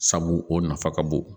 Sabu o nafa ka bon